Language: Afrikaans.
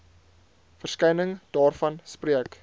verskyning daarvan spreek